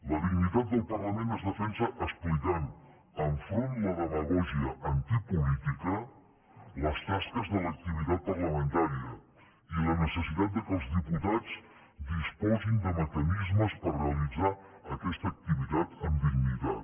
la dignitat del parlament es defensa explicant enfront de la demagògia antipolítica les tasques de l’activitat parlamentària i la necessitat que els diputats disposin de mecanismes per realitzar aquesta activitat amb dignitat